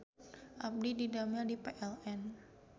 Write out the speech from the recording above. Abdi didamel di PLN